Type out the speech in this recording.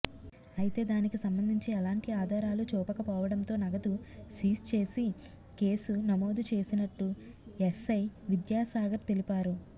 అయితే దానికి సంబంధించి ఎలాంటి ఆధారాలు చూపకపోవడంతో నగదు సీజ్చేసి కేసు నమోదు చేసినట్టు ఎస్సై విద్యాసాగర్ తెలిపారు